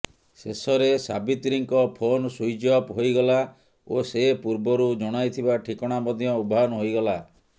ଶେଷରେ ସାବିତ୍ରୀଙ୍କ phone switch off ହୋଇଗଲା ଓ ସେ ପୂର୍ବରୁ ଜଣାଇଥିବା ଠିକଣା ମଧ୍ୟ ଉଭାନ୍ ହୋଇଗଲା